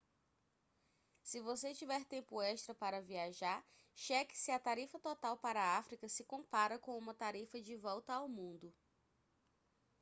se você tiver tempo extra para viajar cheque se a tarifa total para a áfrica se compara com uma tarifa de volta ao mundo